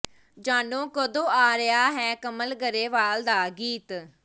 ਜਾਣੋ ਕਦੋਂ ਆ ਰਿਹਾ ਹੈ ਕਮਲ ਗਰੇਵਾਲ ਦਾ ਗੀਤ